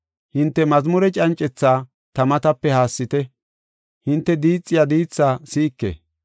Hinte mazmure cancetha ta matape haassite; hinte diixiya diithaa si7ike.